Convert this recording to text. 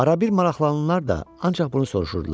Arada bir maraqlananlar da ancaq bunu soruşurdular.